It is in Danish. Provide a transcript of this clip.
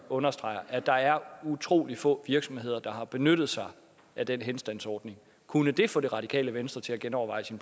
understreger at der er utrolig få virksomheder der har benyttet sig af den henstandsordning kunne det så få det radikale venstre til at genoverveje sin